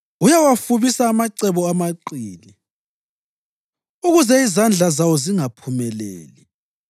Uyawafubisa amacebo amaqili, ukuze izandla zawo zingaphumeleli.